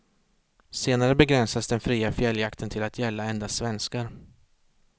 Senare begränsades den fria fjälljakten till att gälla endast svenskar.